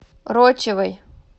рочевой